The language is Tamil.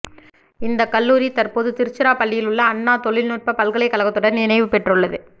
இந்த கல்லூரி தற்போது திருச்சிராப்பள்ளியில் உள்ள அண்ணா தொழில்நுட்ப பல்கலைக்கழகத்துடன் இணைவுபெற்றுள்ளது